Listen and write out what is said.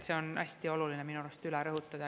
See on hästi oluline minu arust üle rõhutada.